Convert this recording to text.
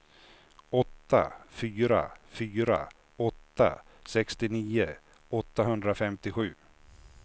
åtta fyra fyra åtta sextionio åttahundrafemtiosju